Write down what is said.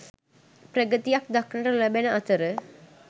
ප්‍රගතියක් දක්නට නොලැබෙන අතර